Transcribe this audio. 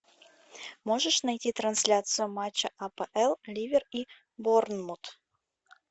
можешь найти трансляцию матча апл ливер и борнмут